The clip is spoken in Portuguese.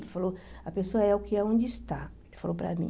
Ele falou, a pessoa é o que é onde está, ele falou para mim.